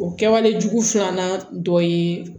O kɛwale jugu filanan dɔ ye